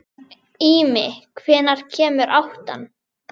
Ími, hvenær kemur áttan?